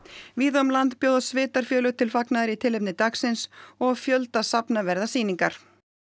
víða um land bjóða sveitarfélög til fagnaðar í tilefni dagsins og á fjölda safna verða sýningar